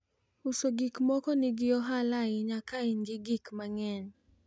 uso gikmoko nigi ohala ahinya ka in gi gik mang'eny